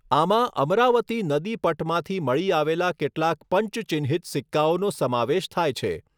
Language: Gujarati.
આમાં અમરાવતી નદીપટમાંથી મળી આવેલા કેટલાક પંચ ચિહ્નિત સિક્કાઓનો સમાવેશ થાય છે.